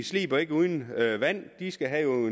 sliber ikke uden vand de skal have